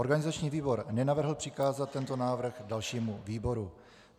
Organizační výbor nenavrhl přikázat tento návrh dalšímu výboru.